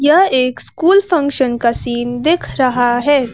यह एक school function का सीन दिख रहा है।